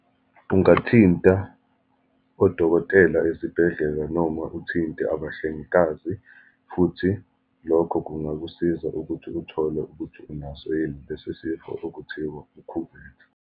Ungathinta odokotela ezibhedlela, noma uthinte abahlengikazi, futhi lokho kungakusiza ukuthi uthole ukuthi unaso yini lesi sifo okuthiwa ukhuvethe.